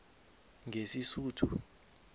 ngesisuthu